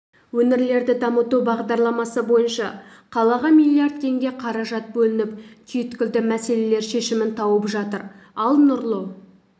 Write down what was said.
өңірлерді дамыту бағдарламасы бойынша қалаға миллиард теңге қаражат бөлініп түйткілді мәселелер шешімін тауып жатыр ал нұрлы